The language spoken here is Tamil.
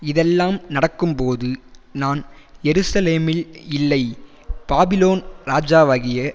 இதெல்லாம் நடக்கும்போது நான் எருசலேமில் இல்லை பாபிலோன் ராஜாவாகிய